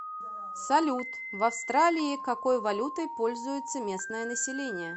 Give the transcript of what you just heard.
салют в австралии какой валютой пользуется местное население